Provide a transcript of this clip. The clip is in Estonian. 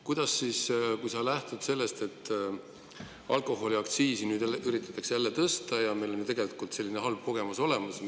Kuidas sa sellest lähtudes seda, et alkoholiaktsiisi nüüd üritatakse jälle tõsta, kuigi meil on ju tegelikult olemas halb kogemus, mida see tähendab.